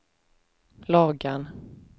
Lagan